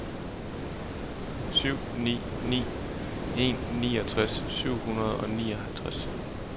syv ni ni en niogtres syv hundrede og nioghalvtreds